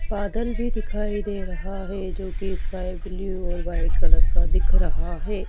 बादल भी दिखाई दे रहा है जोकि स्काई ब्लू और वाइट कलर का दिख रहा है।